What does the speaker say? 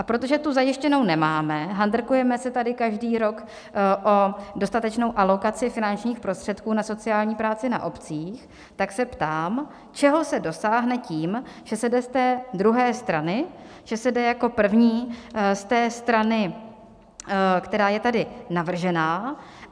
A protože tu zajištěnu nemáme, handrkujeme se tady každý rok o dostatečnou alokaci finančních prostředků na sociální práci na obcích, tak se ptám, čeho se dosáhne tím, že se jde z té druhé strany, že se jde jako první z té strany, která je tady navržena.